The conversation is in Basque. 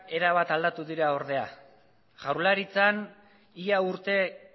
erabat aldatu dira ordea jaurlaritzan ia urte